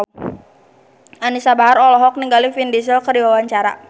Anisa Bahar olohok ningali Vin Diesel keur diwawancara